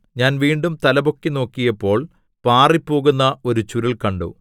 ഞാൻ വീണ്ടും തലപൊക്കി നോക്കിയപ്പോൾ പാറിപ്പോകുന്ന ഒരു ചുരുൾ കണ്ടു